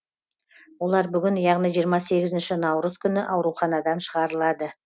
олар бүгін яғни жиырма сегізінші наурыз күні ауруханадан шығарылады